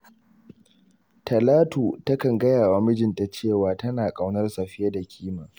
Talatu takan gaya wa mijinta cewa tana ƙaunarsa fiye da kima.